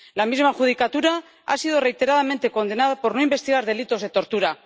La misma judicatura ha sido reiteradamente condenada por no investigar delitos de tortura.